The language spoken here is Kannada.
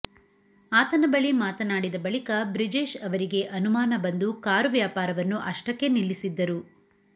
ಆತನ ಬಳಿ ಮಾತನಾಡಿದ ಬಳಿಕ ಬ್ರಿಜೇಶ್ ಅವರಿಗೆ ಅನುಮಾನ ಬಂದು ಕಾರು ವ್ಯಾಪಾರವನ್ನು ಅಷ್ಟಕ್ಕೆ ನಿಲ್ಲಿಸಿದ್ದರು